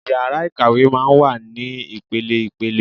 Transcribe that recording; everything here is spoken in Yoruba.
Ìyàrá Ikàwé máa ń wà ní ipele-ipele.